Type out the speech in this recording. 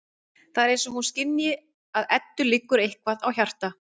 Það er eins og hún skynji að Eddu liggur eitthvað á hjarta.